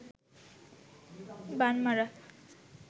বান মারা